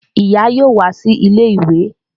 Ìyá yóò wá sí ilé ìwé